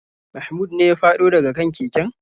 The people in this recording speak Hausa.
Mahmud ne ya fado da ga kan keken.